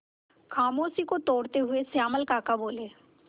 खामोशी को तोड़ते हुए श्यामल काका बोले